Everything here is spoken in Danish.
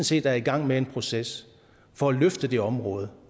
set er i gang med en proces for at løfte det område